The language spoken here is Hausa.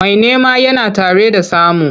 Mai nema yana tare da samu.